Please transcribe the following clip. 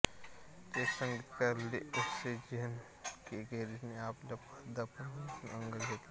check संगीतकार Leos जानकेकेने आपल्या दफनभूमीत अंग घेतला